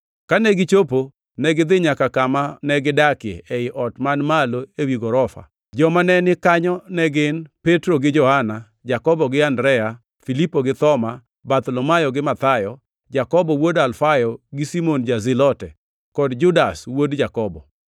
Kane gichopo, negidhi nyaka kama negidakie, ei ot man malo ewi gorofa. Joma ne ni kanyo ne gin: Petro gi Johana, Jakobo gi Andrea; Filipo gi Thoma, Bartholomayo gi Mathayo, Jakobo wuod Alfayo, gi Simon ja-Zilote, kod Judas wuod Jakobo.